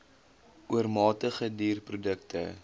oormatige duur produkte